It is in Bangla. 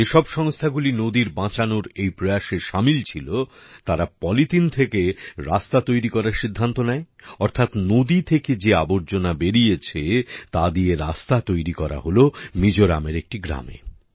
যেসব সংস্থাগুলি নদীর বাঁচানোর এই প্রয়াসে শামিল ছিল তারা পলিথিন থেকে রাস্তা তৈরি করার সিদ্ধান্ত নেয় অর্থাৎ নদী থেকে যে আবর্জনা বেরিয়েছে তা দিয়ে রাস্তা তৈরি করা হল মিজোরামের একটি গ্রামে